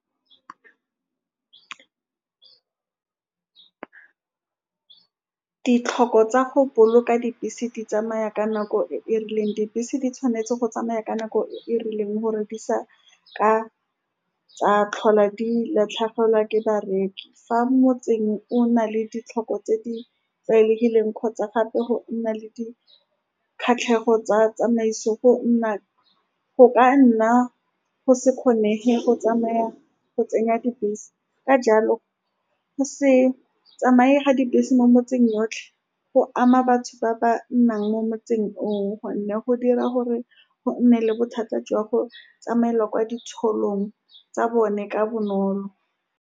Ditlhoko tsa go boloka dibese di tsamaya ka nako e e rileng. Dibese di tshwanetse go tsamaya ka nako e e rileng gore di se ka tsa tlhola di latlhegelwa ke bareki. Fa motse o na le ditlhoko tse di tlwaelegileng kgotsa gape go nna le dikgatlhego tsa tsamaiso, go nna, go ka nna go se kgonege go tsamaya go tsenya dibese. Ka jalo, go se tsamaye ga dibese mo metseng yotlhe go ama batho ba ba nnang mo motseng oo, ka gonne go dira gore go nne le bothata jwa go tsamaela kwa boitsholong tsa bone ka bonolo.